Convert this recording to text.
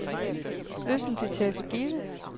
Løsningen bliver taget for givet.